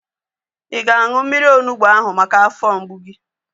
Ị ga-aṅụ mmiri onugbu ahu maka afọ mgbu gị?